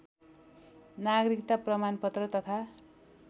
नागरिकता प्रमाणपत्र तथा